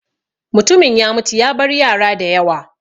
Mutumin ya mutu ya bar yara da yawa.